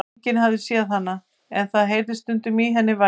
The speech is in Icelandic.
Enginn hafði séð hana, en það heyrðist stundum í henni vælið.